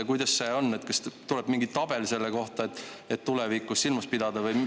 Kuidas see on, kas tuleb mingi tabel selle kohta, et seda tulevikus silmas pidada?